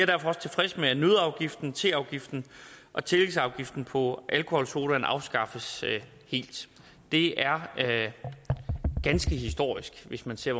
derfor også tilfreds med at nøddeafgiften teafgiften og tillægsafgiften på alkoholsodavand afskaffes helt det er ganske historisk hvis man ser